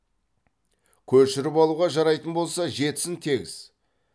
көшіріп алуға жарайтын болса жетсін тегіс